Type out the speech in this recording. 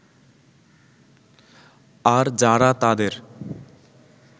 আর যারা তাদের